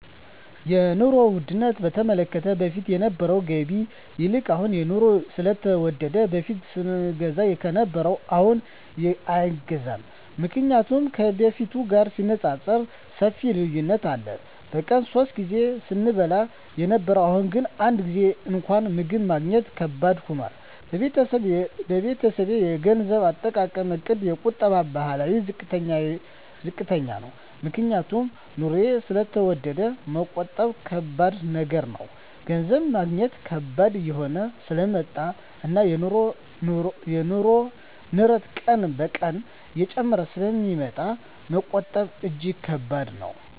የኑሮ ዉድነቱ በተመለከተ በፊት ከነበረዉ ገቢ ይልቅ አሁን የኑሮዉ ስለተወደደ በፊት ስንገዛ ከነበረ አሁንግን አይገዛም ምክንያቱም ከበፊቱ ጋር ሲነፃፀር ሰፊ ልዩነት አለ በቀን ሶስት ጊዜ ስንበላ የነበረዉ አሁን ግን አንድ ጊዜም እንኳን ምግብ ማግኘት ከባድ ሆኗል የቤተሰቤ የገንዘብ አጠቃቀምእቅድ የቁጠባ ባህላችን ዝቅተኛ ነዉ ምክንያቱም ኑሮዉ ስለተወደደ መቆጠብ ከባድ ነገር ነዉ ገንዘብ ማግኘት ከባድ እየሆነ ስለመጣእና የኑሮዉ ንረት ቀን ቀን እየጨመረ ስለሚመጣ መቆጠብ እጂግ ከባድ ነዉ